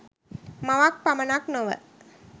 මවක් පමණක් නොව